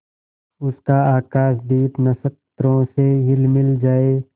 उसका आकाशदीप नक्षत्रों से हिलमिल जाए